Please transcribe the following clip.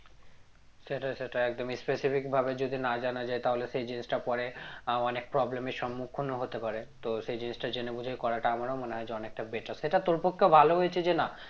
সেটাই সেটাই একদম specific ভাবে যদি না জানা যায় তাহলে সেই জিনিসটা পরে আহ অনেক problem এর সম্মুখন ও হতে পারে তো সেই জিনিসটা জেনে বুঝে করাটা আমার ও মনে হয়ে অনেকটা better সেটা তোর পক্ষে ভালো হয়েছে যে না